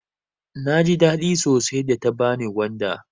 Naji daɗi sosai da ta bani gwanda.